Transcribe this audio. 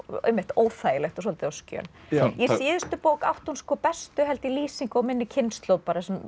óþægilegt og svolítið á skjön í síðustu bók átti hún bestu held ég lýsingu á minni kynslóð